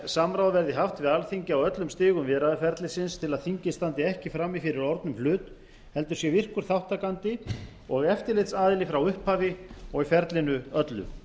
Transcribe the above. samráð verði haft við alþingi á öllum stigum viðræðuferlisins til að þingið standi ekki frammi fyrir orðnum hlut heldur sé virkur þátttakandi og eftirlitsaðili frá upphafi og í ferlinu öllu